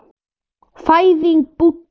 Fæðing Búdda.